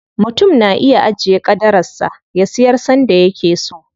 Mutum na iya ajiye ƙadarar sa, ya siyar sanda yake so.